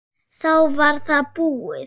Þá var það búið.